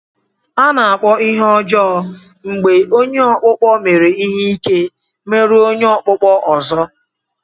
A na-akpọ ihe ọjọọ mgbe onye ọkpụkpọ mere ihe ike meru onye okpukpo ozo.